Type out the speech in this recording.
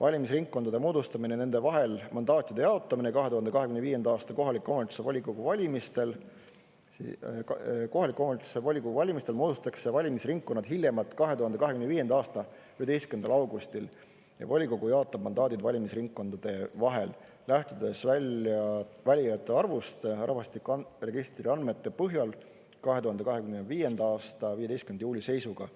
valimisringkondade moodustamine nende vahel mandaatide jaotamine 2025. aasta kohaliku omavalitsuse volikogu valimistel; kohaliku omavalitsuse volikogu valimistel moodustatakse valimisringkonnad hiljemalt 2025. aasta 11. augustil ja volikogu jaotab mandaadid valimisringkondade vahel, lähtudes valijate arvust rahvastikuregistri andmete põhjal 2025. aasta 15. juuli seisuga.